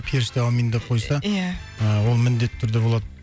періште әумин деп қойса иә ыыы ол міндетті түрде болады